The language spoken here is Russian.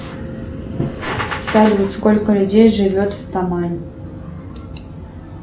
салют сколько людей живет в тамани